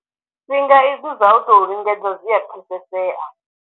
Fhinga izwi zwa u tou lingedza zwi a pfesesea.